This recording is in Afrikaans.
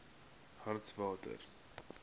hartswater